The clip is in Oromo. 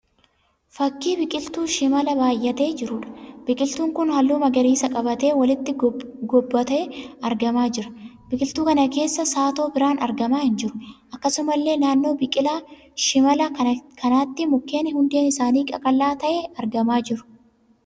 Fakkii biqiltuu shimalaa baayyatee jiruudha. Biqiltuun kun halluu magariisa qabaatee walitti gobbatee argamaa jira. Biqiltuu kana keessa saatoo biraan argamaa hin jiru. Akkasumallee naannoo biqilaa shimalaa kanatti mukeen hundeen isaanii qaqal'aa ta'ee argamaa jiru.